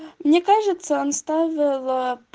мне кажется он ставил